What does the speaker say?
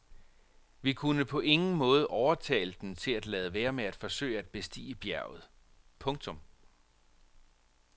Vi kunne på ingen måde overtale dem til at lade være med at forsøge at bestige bjerget. punktum